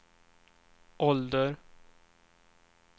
ålder